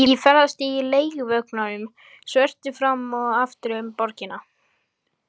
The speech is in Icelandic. Ég ferðast í leiguvögnunum svörtu fram og aftur um borgina.